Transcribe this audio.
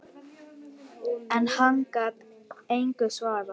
En hann gat engu svarað.